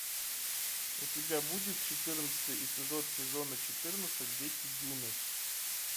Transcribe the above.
у тебя будет четырнадцатый эпизод сезона четырнадцать дети дюны